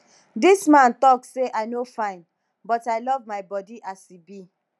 dis man talk say i no fine but i love my body as e be